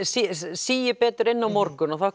síist betur inn á morgun og þá